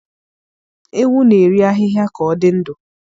Ewu na-eri ahịhịa ka ọ dị ndụ.